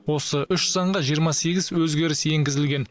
осы үш заңға жиырма сегіз өзгеріс енгізілген